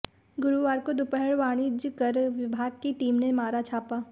गुरुवार को दोपहर वाणिज्य कर विभाग की टीम ने मारा छापा